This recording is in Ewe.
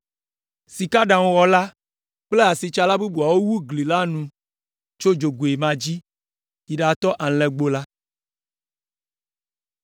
Sikaɖaŋuwɔla kple asitsala bubuawo wu gli la nu tso dzogoe ma dzi yi ɖatɔ Alẽgbo la.